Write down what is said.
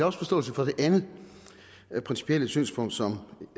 også forståelse for det andet principielle synspunkt som